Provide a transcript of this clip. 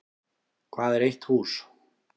Hvað er eitt hús?